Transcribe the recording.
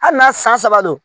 Hali n'a san saba don